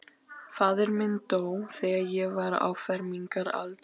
Faðir minn dó, þegar ég var á fermingaraldri.